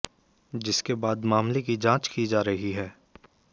जिसके बाद मामले की जांच की जा रही है